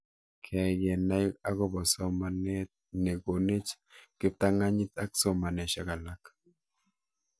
Keyai kenai akopo somanet ne konech kiptang'anyit ak somanoshek alak